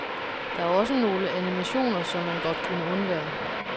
Der er også nogle animationer, som man godt kunne undvære.